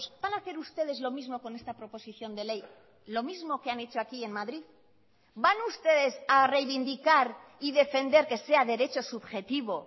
van a hacer ustedes lo mismo con esta proposición de ley lo mismo que han hecho aquí en madrid van a ustedes a reivindicar y defender que sea derecho subjetivo